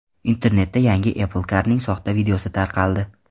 Internetda yangi Apple Car’ning soxta videosi tarqaldi.